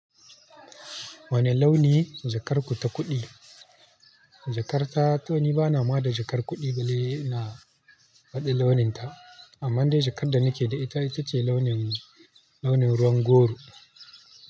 Wane launi jakar ku ta kuɗi? Jakar ta, to ni bana ma da jakar kuɗi balle ina faɗi launin ta, amma dai jakar da nike da ita, ita ce launin, launin ruwan goro.